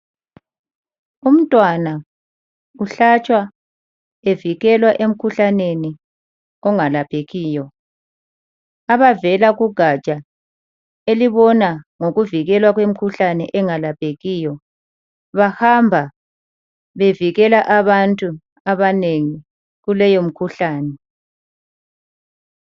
Umntwana uhlatshwa evikelwa emkhuhlaneni ongalaphekiyo. Abavela kugatsha elibona ngokuvikelwa kwemkhuhlane engalaphekiyo bahamba bevikela abantu abanengi kuleyo mkhuhlane.